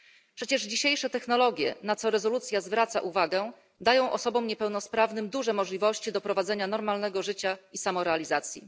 Przecież dzisiejsze technologie, na co rezolucja zwraca uwagę, dają osobom niepełnosprawnym duże możliwości do prowadzenia normalnego życia i samorealizacji.